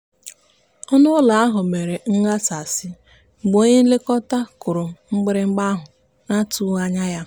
ọnụụlọ ahụ mere nghasasị mgbe onye nlekọta m kụrụ mgbịrịgba ahụ n'atụghị anya ya.